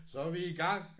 Så er vi i gang